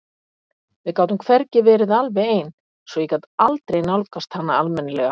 Við gátum hvergi verið alveg ein svo ég gat aldrei nálgast hana almennilega.